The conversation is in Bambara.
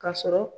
Ka sɔrɔ